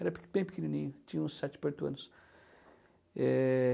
Era bem pequenininho, tinha uns sete para oito anos. Eh...